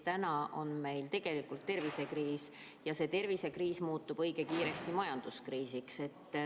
Täna on meil tervisekriis ja see tervisekriis muutub õige kiiresti majanduskriisiks.